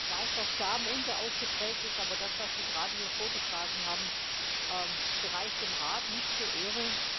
Ich weiß, dass Charme unterausgeprägt ist, aber das, was Sie gerade hier vorgetragen haben, gereicht dem Rat nicht zur Ehre.